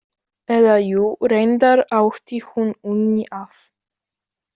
Eða, jú, reyndar átti hún Unni að.